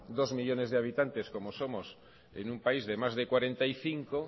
dos millónes de habitantes como somos en un país de más de cuarenta y cinco